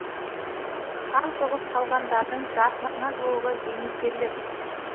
сан соғып қалғандардың жартысына жуығы зейнеткерлер